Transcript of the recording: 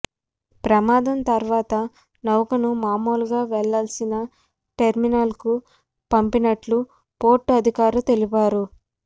ప్రమాదం తర్వాత నౌకను మామూలుగా వెళ్లాల్సిన టెర్మినల్కు పంపినట్లు పోర్టు అధికారులు తెలిపారు